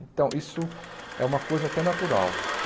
Então isso é uma coisa até natural.